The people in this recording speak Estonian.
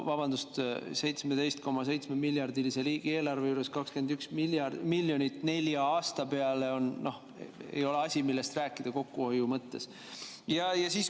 Vabandust, 17,7-miljardilise riigieelarve juures 21 miljonit nelja aasta peale ei ole asi, millest rääkida kokkuhoiu mõttes.